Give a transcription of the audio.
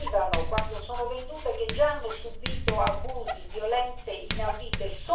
arrivano, quando sono vendute, che già hanno subito abusi, violenze inaudite.